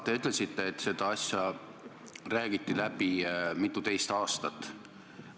Te ütlesite, et seda asja räägiti läbi mituteist aastat.